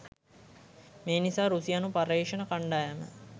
මේ නිසා රුසියානු පර්යේෂණ කණ්ඩායම